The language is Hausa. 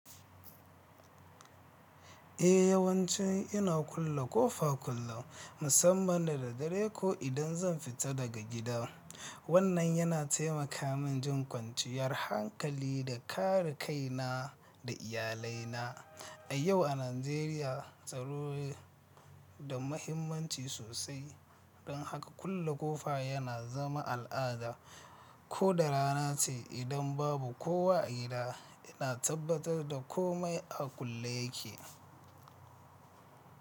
Eh yawanci ina kulle ƙofa kullum musamman da dare ko idan zan fita daga gida. Wannan yana taimaka min jin kwanciyar hankali da kare kaina da iyalaina. A yau a Najeriya, tsaro da muhimmanci sosai, don haka kulle ƙofa yana zama al'ada. Ko da rana ce, idan babu kowa a gida, ina tabbatar da kome a kulle yake.